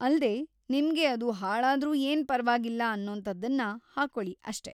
ಅಲ್ದೇ, ನಿಮ್ಗೆ ಅದು ಹಾಳಾದ್ರೂ ಏನ್ ಪರ್ವಾಗಿಲ್ಲ ಅನ್ನೋಂಥದನ್ನ ಹಾಕೊಳಿ ಅಷ್ಟೇ!